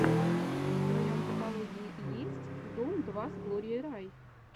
в твоем каталоге есть дом два с глорией рай